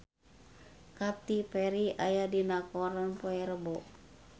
Katy Perry aya dina koran poe Rebo